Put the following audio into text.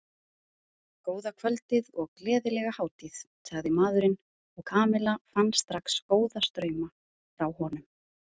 Góða kvöldið og gleðilega hátíð sagði maðurinn og Kamilla fann strax góða strauma frá honum.